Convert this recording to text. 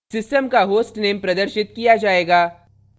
system का hostname प्रदर्शित किया जायेगा